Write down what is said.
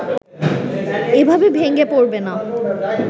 এভাবে ভেঙ্গে পড়বে না